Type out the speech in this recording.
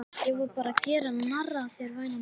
Ég var bara að gera narr að þér væna mín.